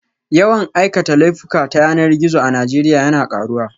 Yawan aikata laifuka ta yanar gizo a Najeriya yana karuwa